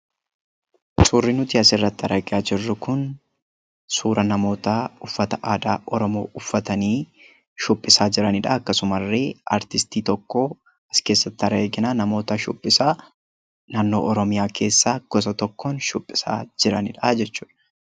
Suurri nuti asirratti argaa jirru kun suuraa namootaa uffata aadaa Oromoo uffatanii shubbisaa jiranidha. Akkasumallee aartistii tokko as keessatti argina. Namoota shubbisaa naannoo Oromiyaa keessaa naannoo tokkoon shubbisaa jiranidha jechuudha.